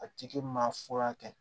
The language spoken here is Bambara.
A tigi maa fura kɛ